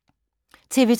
TV 2